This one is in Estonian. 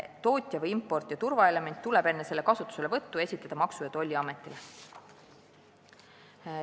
Tootja või importija turvaelementi tuleb enne selle kasutuselevõttu esitleda Maksu- ja Tolliametile.